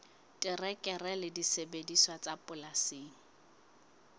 terekere le disebediswa tsa polasing